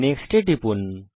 next এ টিপুন